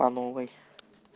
по новой